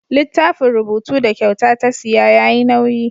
Littafin rubutu da kyauta ta siya yayi nauyi.